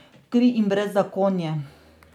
Kri in brezzakonje.